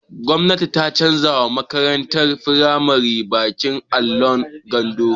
Gwamnati ta canza wa makaratun firamari baƙin allon bango